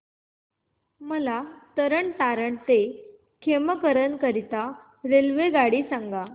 मला तरण तारण ते खेमकरन करीता रेल्वेगाड्या सांगा